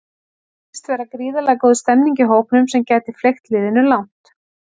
Svo virðist vera gríðarlega góð stemmning í hópnum sem gæti fleygt liðinu langt.